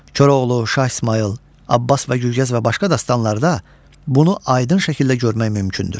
Koroğlu, Şah İsmayıl, Abbas və Gülqəz və başqa dastanlarda bunu aydın şəkildə görmək mümkündür.